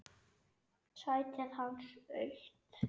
Sætið hans autt.